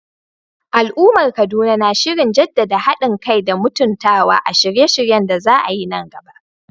Al'ummar Kaduna na shirin jaddada hadin kai da mutuntawa a shirye-shiryen da za a yi nan gaba.